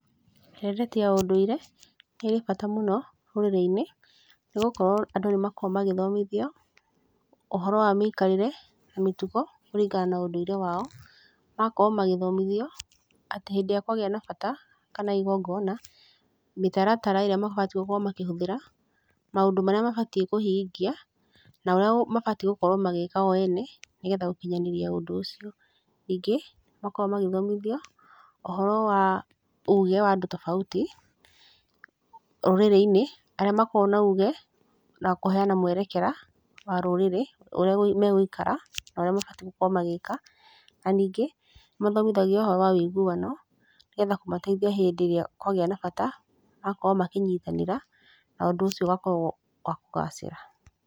Ndereti ya ũndũire, nĩrĩ bata mũno, rũrĩrĩ-inĩ, nĩ gũkorwo, andũ nĩ makoragwo magĩthomithio, ũhoro wa mĩikarĩre, na mĩtugo, kũringana na ũndũire wao, magakorwo magĩthomithio, atĩ hĩndĩrĩa kwagĩa na bata, kana igongona, mĩtaratara ĩrĩa mabatiĩ gũkorwo makĩhũthĩra, maũndũ marĩa mabatiĩ kũhingia, na ũrĩa mabatiĩ gũkorwo magĩka o ene, nĩgetha gũkinyanĩria ũndũ ũcio. Ningĩ, nĩ makoragwo magĩthomithio, ũhoro wa, uge wa andũ tofauti, rũrĩrĩ-inĩ, arĩa makoragwo na uge, na kũheana mwerekera, wa rũrĩrĩ, ũrĩa megũikara, na ũrĩa mabatiĩ gũkorwo magĩka, na ningĩ, nĩ mathomithagio ũhoro wa ũiguano, nĩgetha kũmateithia hĩndĩ ĩrĩa kwagĩa na bata, magakorwo makĩnyitanĩra, na ũndũ ũcio ũgakorwo wa kũgacĩra.